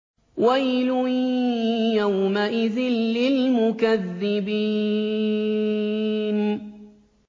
وَيْلٌ يَوْمَئِذٍ لِّلْمُكَذِّبِينَ